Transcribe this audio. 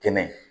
Kɛnɛ